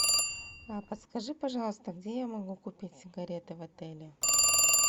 подскажи пожалуйста где я могу купить сигареты в отеле